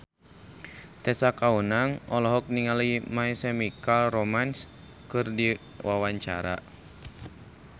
Tessa Kaunang olohok ningali My Chemical Romance keur diwawancara